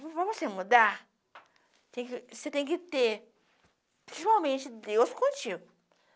Para você mudar, você você tem que ter, principalmente, Deus contigo.